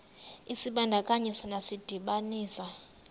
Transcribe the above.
isibandakanyi sona sidibanisa